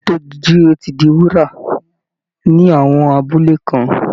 Ìlera tó jíire ti di wúrà ní àwọn abúlé kan